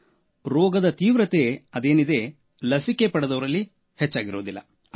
ಆದರೆ ರೋಗದ ತೀವ್ರತೆ ಲಸಿಕೆ ಪಡೆದವರಲ್ಲಿ ಹೆಚ್ಚಾಗಿರುವುದಿಲ್ಲ